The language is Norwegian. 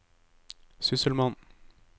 sysselmann